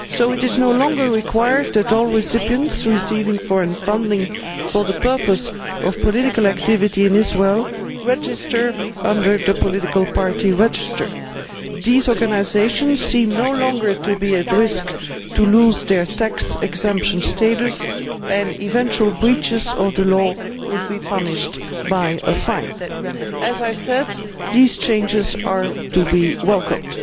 It is no longer required of all recipients of foreign funding for the purpose of political activities in Israel to register under the political party' register. It seems that these organisations are no longer at risk of losing their tax exemption status, and potential breaches of the law would be punished by a fine. As I said, these changes are to be welcomed.